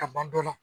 Ka ban dɔ la